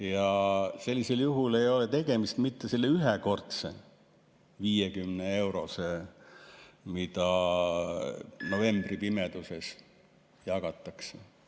Ja sellisel juhul ei ole tegemist mitte ühekordse 50‑eurose toetusega, mida novembripimeduses jagatakse.